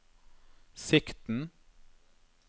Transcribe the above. sikten